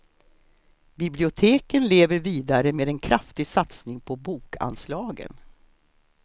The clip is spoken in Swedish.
Biblioteken lever vidare med en kraftig satsning på bokanslagen.